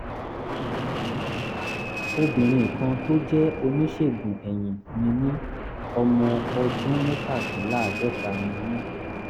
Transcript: obìnrin kan tó jẹ́ oníṣègùn eyín ni mí ọmọ ọdún mẹ́tàdínláàádọ́ta ni mí